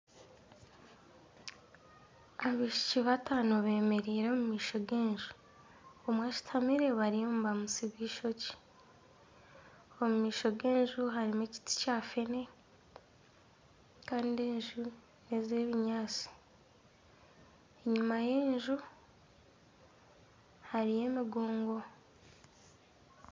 Abaishiiki bataano bemereire omu maisho g'enju omwe ashuutamire bariyo nibamutsiba eishokye, omu maisho g'enju harimu ekiti kya feene kandi enju n'eze ebinyaatsi enyuma y'enju hariyo emigongo.